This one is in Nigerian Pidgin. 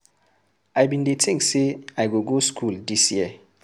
I bin dey think say I go go school dis year.